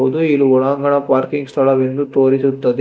ಇದು ಒಳಾಂಗಣ ಪಾರ್ಕಿಂಗ್ ಸ್ಥಳವೆಂದು ತೋರಿಸುತ್ತದೆ.